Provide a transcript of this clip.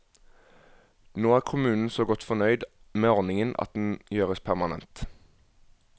Nå er kommunen så godt fornøyd med ordningen at den gjøres permanent.